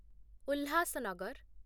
Ulhasnagar